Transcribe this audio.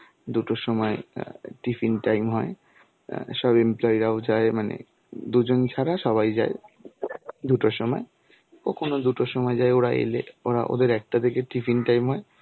দুটোর সময় আঁ tiffin টাইম হয় আঁ সব employee রাও যায়. মানে দুজন ছাড়া সবাই যায় দুটোর সময়. কখনো দুটোর সময় যায় ওরা এলে. ওরা ওদের একটা থেকে টিফিন টাইম হয়.